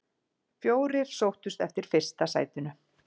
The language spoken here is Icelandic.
Fjórir sóttust eftir fyrsta sætinu.